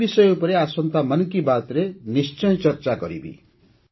ମୁଁ ଏହି ବିଷୟ ଉପରେ ଆସନ୍ତା 'ମନ୍ କି ବାତ୍'ରେ ନିଶ୍ଚୟ ଚର୍ଚ୍ଚା କରିବି